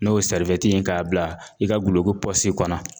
N'o ye ye k'a bila i ka duloki pɔsi kɔnɔ.